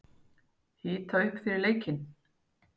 Hita upp fyrir leikinn?